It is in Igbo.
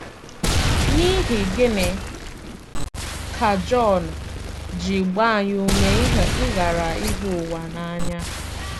N’ihi gịnị ka Jọn ji gbaa anyị ume ịghara ịhụ ụwa n’anya?